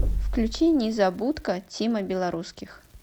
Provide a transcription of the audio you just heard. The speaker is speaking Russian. включи незабудка тима белорусских